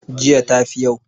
jiya ta fi yau?